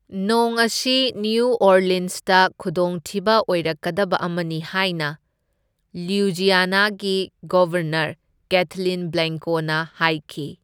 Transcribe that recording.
ꯅꯣꯡ ꯑꯁꯤ ꯅ꯭ꯌꯨ ꯑꯣꯔꯂꯤꯟꯁꯇ ꯈꯨꯗꯣꯡꯊꯤꯕ ꯑꯣꯏꯔꯛꯀꯗꯕ ꯑꯃꯅꯤ ꯍꯥꯏꯅ ꯂꯨꯏꯖꯤꯌꯥꯅꯥꯒꯤ ꯒꯕꯔꯅꯔ, ꯀꯦꯊꯂꯤꯟ ꯕ꯭ꯂꯦꯡꯀꯣꯅ ꯍꯥꯏꯈꯤ꯫